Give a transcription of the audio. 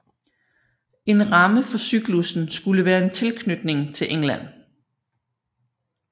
En ramme for cyklussen skulle være en tilknytning til England